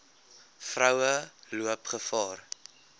vroue loop gevaar